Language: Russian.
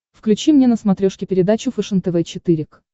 включи мне на смотрешке передачу фэшен тв четыре к